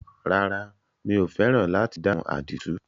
Rárá, mi ò fẹ́ràn láti dáhùn àdìtú.